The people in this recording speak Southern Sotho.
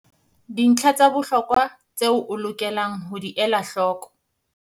Dintlha tsa bohlokwa tseo o lokelang ho di ela hloko